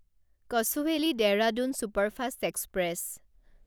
Kochuveli Dehradun superfast express